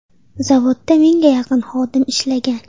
Zavodda mingga yaqin xodim ishlagan.